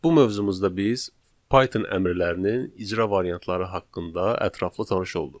Bu mövzumuzda biz Python əmrlərinin icra variantları haqqında ətraflı tanış olduq.